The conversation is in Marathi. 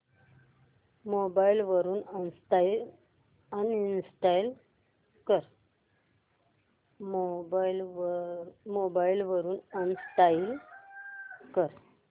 मोबाईल वरून अनइंस्टॉल कर